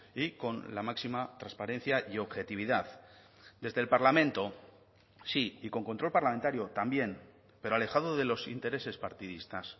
y con la máxima transparencia y objetividad desde el parlamento sí y con control parlamentario también pero alejado de los intereses partidistas